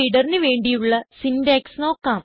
BufferedReaderന് വേണ്ടിയുള്ള സിന്റാക്സ് നോക്കാം